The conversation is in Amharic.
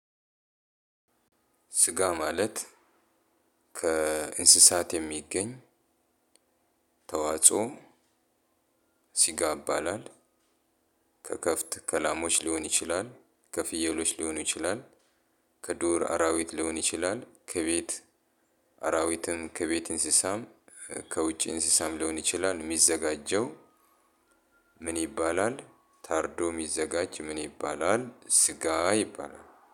ስጋ ማለት ከእንስሳት የሚገኝ ተዋጾ ስጋ ይባላል። ከከብት ከላሞች ሊሆን ይችላል። ከፍየሎች ሊሆን ይችላል። ከዱር አራዊት ሊሆን ይችላል። ከቤት አራዊትም ከቤት እንስሳም ከውጪ እንስሳም ሊሆን ይችላል የሚዘጋጀው። ምን ይባላል ታርዶ የሚዘጋጅ ምን ይባላል ስጋ ይባላል።